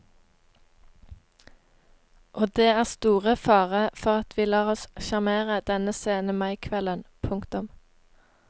Og det er store fare for at vi lar oss sjarmere denne sene maikvelden. punktum